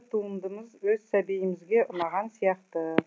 туындымыз өз сәбиімізге ұнаған сияқты